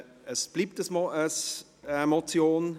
Es bleibt bei einer Motion.